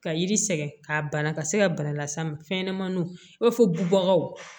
Ka yiri sɛgɛn ka bana ka se ka bana las'a ma fɛnɲɛnɛmaninw i b'a fɔ bubagaw